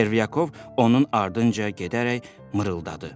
Çervyakov onun ardınca gedərək mırıldadı.